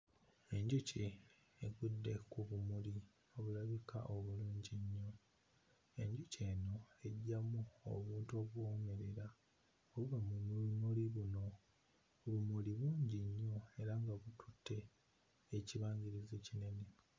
Enjuki egudde ku bimuli ebirabika obulungi. Enjuki eno eggyamu obuntu obuwoomerera buli mu bimuli bino. Ebimuli bingi nnyo era nga bikutte ekibangirizi kino.